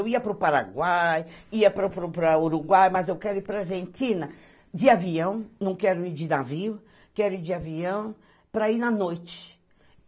Eu ia para o Paraguai, ia para o Uruguai, mas eu quero ir para a Argentina de avião, não quero ir de navio, quero ir de avião para ir na noite.